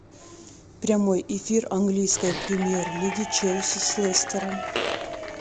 прямой эфир английской премьер лиги челси с лестером